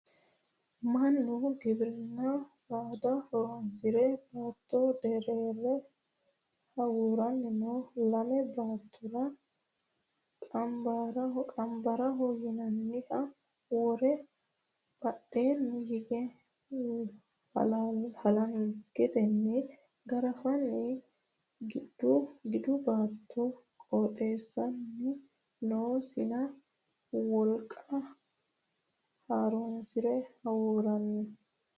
Mannu giwirinna saada horonsire baatto derere hawurani no lame boottara qambaraho yinanniha wore badheni hige halangeteni garafani gidu baatto qotisani no insa wolqa horonsire hawuurani.